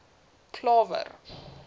klawer